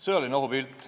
Sõjaline ohupilt.